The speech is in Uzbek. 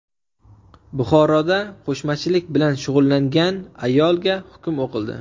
Buxoroda qo‘shmachilik bilan shug‘ullangan ayolga hukm o‘qildi.